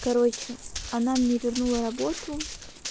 короче она мне вернула работу